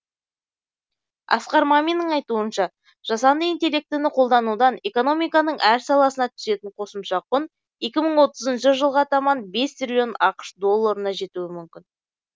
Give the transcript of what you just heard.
асқар маминнің айтуынша жасанды интеллектіні қолданудан экономиканың әр саласына түсетін қосымша құн екі мың отызыншы жылға таман бес триллион ақш долларына жетуі мүмкін